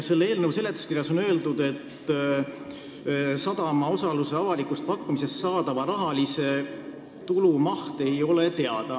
Selle eelnõu seletuskirjas on öeldud, et sadama osaluse avalikust pakkumisest saadava tulu rahaline maht ei ole teada.